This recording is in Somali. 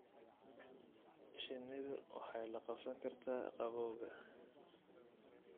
Shinnidu waxay la qabsan kartaa qabowga.